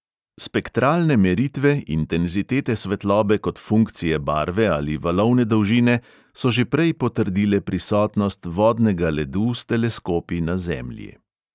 Spektralne meritve, intenzitete svetlobe kot funkcije barve ali valovne dolžine so že prej potrdile prisotnost vodnega ledu s teleskopi na zemlji.